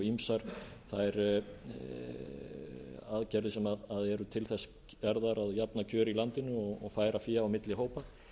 ýmsar þær aðgerðir sem eru til þess gerðar að jafna kjör í landinu og færa fé á milli hópa